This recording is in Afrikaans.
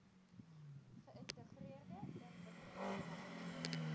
geintegreerde ontwikkelings plan